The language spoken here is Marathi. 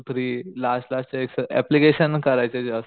थ्री लास्ट लास्ट चे एक्सर अप्लिकेशन करायचे